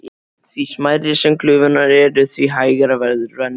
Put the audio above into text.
Því smærri sem glufurnar eru, því hægara verður rennslið.